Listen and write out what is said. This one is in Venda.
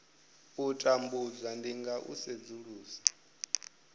tambudzwa ndi nga u sedzulusa